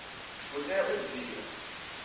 u tea u zwi divha